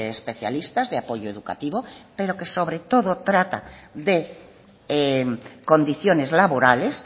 especialistas de apoyo educativo pero que sobre todo trata de condiciones laborales